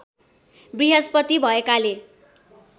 बृहस्पति भएकाले